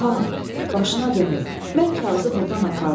Xan, başına dönüm, mən kağızı burdan apardım.